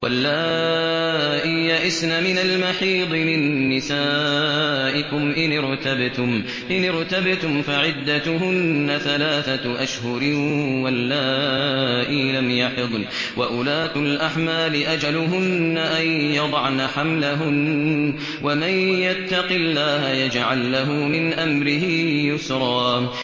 وَاللَّائِي يَئِسْنَ مِنَ الْمَحِيضِ مِن نِّسَائِكُمْ إِنِ ارْتَبْتُمْ فَعِدَّتُهُنَّ ثَلَاثَةُ أَشْهُرٍ وَاللَّائِي لَمْ يَحِضْنَ ۚ وَأُولَاتُ الْأَحْمَالِ أَجَلُهُنَّ أَن يَضَعْنَ حَمْلَهُنَّ ۚ وَمَن يَتَّقِ اللَّهَ يَجْعَل لَّهُ مِنْ أَمْرِهِ يُسْرًا